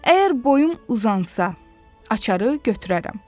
Əgər boyum uzansa, açarı götürərəm.